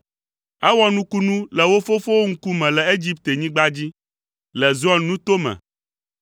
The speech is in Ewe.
Ewɔ nukunu le wo fofowo ŋkume le Egiptenyigba dzi, le Zoan nuto me.